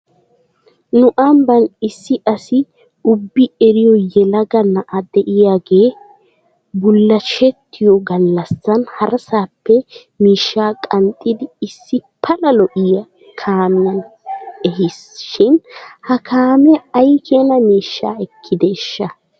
Nu ambban isi asi ubbi ereyoo yelaga na'a diyaagee bulashettiyoo galassan harasaappe miishshaa qanxxidi issi pala lo'iyaa kaamiyan ehis shin he kaamee aykeena miishshaa ekkideeshsha?